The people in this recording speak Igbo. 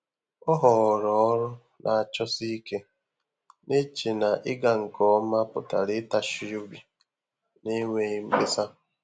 Ọ́ họọrọ ọrụ́ nà-àchọsí íké, nà-échè nà ị́gà nké omà pụ̀tàrà ị́tàchí óbí n’énwéghị́ mkpésà.